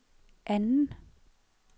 anden